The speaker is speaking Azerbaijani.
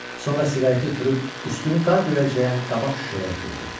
Sonra siqareti üfürüb üstünü qar döyəcləyən qabaq şüşəyə üfürdü.